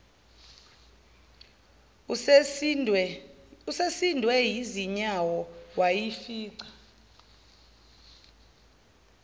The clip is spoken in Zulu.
usesindwe yizinyawo wayifica